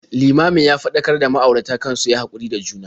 Limamin ya faɗakar da ma'auratan kan su yi haƙuri da juna.